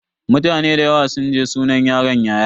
Mutane da yawa sun je sunan yaron yayana.